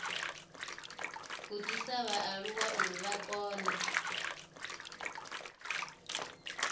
gudisa vhaaluwa uri vha kone